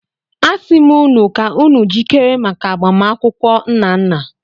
Asim unu ka unu jikere maka agbamakwụkwọ Nnanna.